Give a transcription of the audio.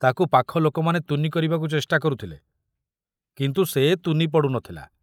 ତାକୁ ପାଖ ଲୋକମାନେ ତୁନି କରିବାକୁ ଚେଷ୍ଟା କରୁଥିଲେ କିନ୍ତୁ ସେ ତୁନି ପଡ଼ୁ ନଥିଲା।